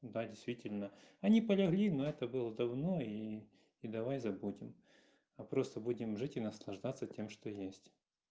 да действительно они полегли но это было давно и и давай забудем а просто будем жить и наслаждаться тем что есть